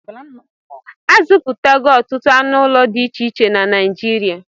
A zụpụtago ọtụtụ anụ ụlọ dị iche na Naijirịa